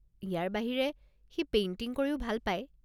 ইয়াৰ বাহিৰে, সি পেইণ্টিং কৰিও ভাল পায়।